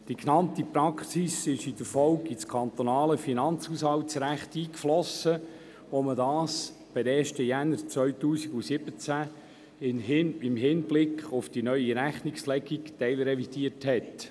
Die genannte Praxis ist in der Folge in das kantonale Finanzhaushaltsrecht eingeflossen, als dieses auf den 1. Januar 2017 im Hinblick auf die neue Rechnungslegung teilrevidiert wurde.